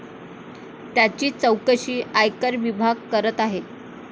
याची चौकशी आयकर विभाग करत आहे.